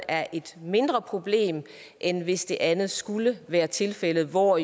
er et mindre problem end hvis det andet skulle være tilfældet hvor